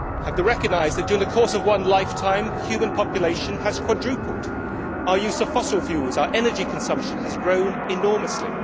we have to recognise that during the course of one lifetime, the human population has quadrupled and our use of fossil fuels, our energy consumption, has grown enormously.